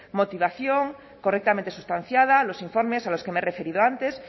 motivación correctamente substanciada los informes a los que me he referido antes